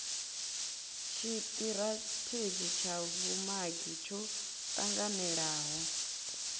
tshitirathedzhi tsha vhumagi tsho tanganelaho